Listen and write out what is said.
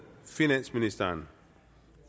finansministeren